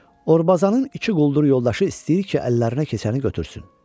Orbazanın iki quldur yoldaşı istəyir ki, əllərinə keçəni götürsün.